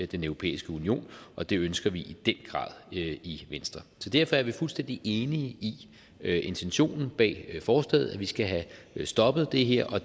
den europæiske union og det ønsker vi i den grad i venstre så derfor er vi fuldstændig enige i intentionen bag forslaget nemlig at vi skal have stoppet det her og